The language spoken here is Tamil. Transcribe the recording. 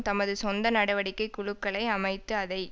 தமது சொந்த நடவடிக்கை குழுக்களை அமைத்து அதை